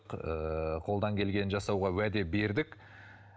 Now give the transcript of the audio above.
ыыы қолдан келгенін жасауға уәде бердік